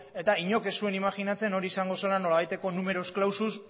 eta inork ez zuen imajinatzen hori izango zela nolabaiteko numerus clausus